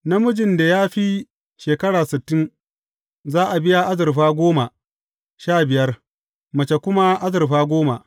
Namijin da ya fi shekara sittin, za a biya azurfa goma sha biyar, mace kuma azurfa goma.